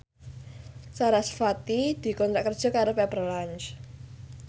sarasvati dikontrak kerja karo Pepper Lunch